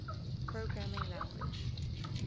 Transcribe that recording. programming language